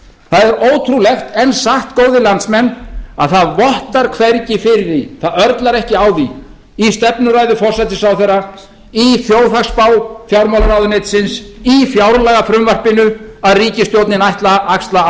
það er ótrúlegt en satt góðir landsmenn að það vottar hvergi fyrir því það örlar ekki á því í stefnuræðu forsætisráðherra í þjóðhagsspá fjármálaráðuneytisins í fjárlagafrumvarpinu að ríkisstjórnin ætli að axla